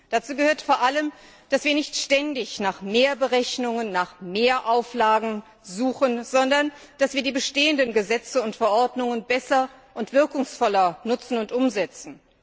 Dazu gehört vor allem, dass wir nicht ständig nach mehr Berechnungen, nach mehr Auflagen suchen, sondern dass wir die bestehenden Gesetze und Verordnungen besser und wirkungsvoller nutzen und umsetzen.